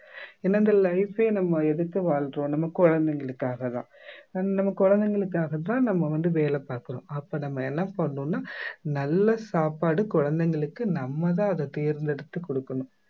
ஏன்னா இந்த life ஏ நம்ம எதுக்கு வாழ்றோம் நம்ம குழந்தைகளுக்காகதான் and நம்ம குழந்தைகளுக்காகத்தான் நம்ம வந்து வேலை பார்க்கிறோம் அப்ப நம்ம என்ன பண்ணணும்னா நல்ல சாப்பாடு குழந்தைங்களுக்கு நம்ம தான் அதை தேர்ந்தெடுத்து கொடுக்கணும்